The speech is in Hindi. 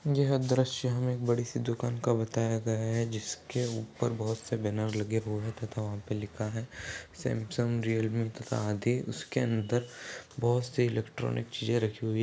यह दृश्य हमें एक बड़ी सी दुकान का बताया गया है जिसके ऊपर बहोत से बैनर लगे हुए हैं तथा वहां पर लिखा है सैमसंग रियलमी तथा आदि उसके अंदर बहोत से इलेक्ट्रानिक चीजे रखी हुई --